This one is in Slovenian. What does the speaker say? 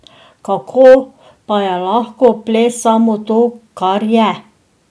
Kako pa je lahko ples samo to, kar je?